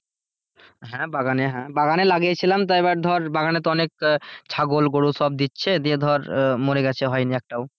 হ্যাঁ বাগানে লাগিয়েছিলাম তা এইবার ধর বাগানে তো অনেক ছাগল গরু সব দিচ্ছে ধর মোর গেছে হয়নি একটাও।